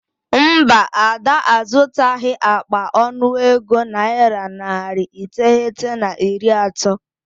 Mba, Ada azụtaghị akpa ọnụego naira narị iteghete na iri atọ.